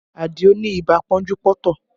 Adio ni ibà pọ́njú-pọ́ntọ̀